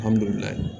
Alihamudulila